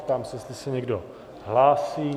Ptám se, jestli se někdo hlásí.